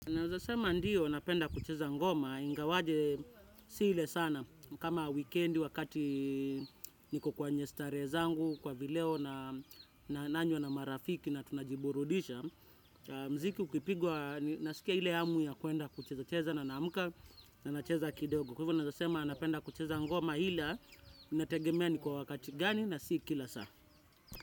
Naeza sema ndiyo napenda kucheza ngoma, ingawaje si ile sana, kama wikendi wakati niko kwenye starehe zangu, kwa vileo nananywa na marafiki na tunajiburudisha, na mziki ukipigwa nasikia ile hamu ya kuenda kucheza cheza na naamuka na nacheza kidogo. Kwa hivyo nazasema napenda kucheza ngoma hila, inategemea ni kwa wakati gani na si kila saa.